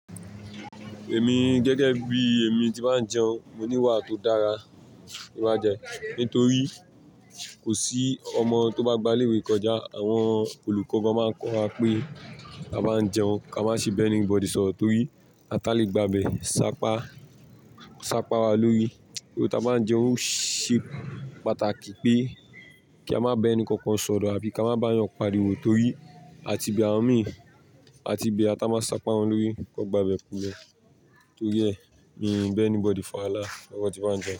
Èmi gẹ́gẹ́ bí èmi tí máa ń jẹun, mo ní iwà tó dára. Nígbà díè, nítorí kò sí ọmọ tó bá gba ilé-ìwé kọjá, àwọn olùkọ́ máa ń kọ́ wa pé a máa ń jẹun, kí a má ṣe ba anybody soro, tori asa le gbabe sa ka bodies ọ, torí a tá lè gba bẹ̀, sápa, sáa wa lórí. Ohun tá a máa ń jẹun ṣé pàtàkì pé kí a má bẹ ẹni kankan sọ̀rọ̀ àbí kí á má bá ẹyan parìwọ̀ torí a ti bẹ̀ àwoń mì, a ti bẹ̀ awon tá máa sápa wọn lórí kí wọ́n gba bẹ̀ kulẹ̀. Tori, mii ba anybody fa wahala.